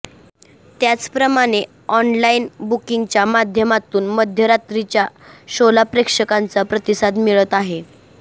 त्याचप्रमाणे ऑनलाइन बुकिंगच्या माध्यमातून मध्यरात्रीच्या शोला प्रेक्षकांचा प्रतिसाद मिळत आहे